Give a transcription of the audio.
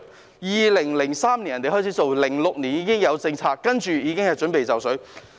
別人在2003年開始做，在2006年已經有政策，現在已經準備就緒。